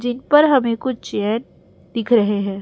जिनपर हमें कुछ चेयर दिख रहे हैं।